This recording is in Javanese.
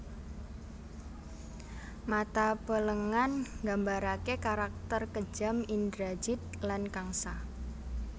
Mata Pelengan Nggambaraké karakter kejem Indrajid lan Kangsa